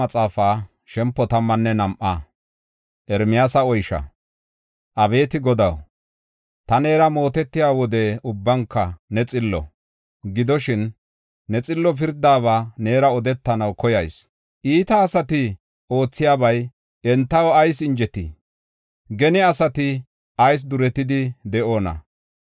Abeeti Godaw, ta neera mootetiya wode ubbanka ne xillo. Gidoshin, ne xillo pirdaba neera odetanaw koyayis. Iita asati oothiyabay entaw ayis injetii? Gene asati ayis duretidi de7oona?